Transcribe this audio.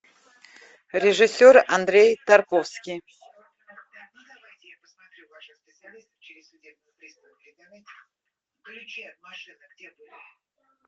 режиссер андрей тарковский